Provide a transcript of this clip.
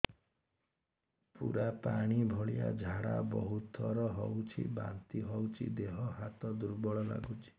ପୁରା ପାଣି ଭଳିଆ ଝାଡା ବହୁତ ଥର ହଉଛି ବାନ୍ତି ହଉଚି ଦେହ ହାତ ଦୁର୍ବଳ ଲାଗୁଚି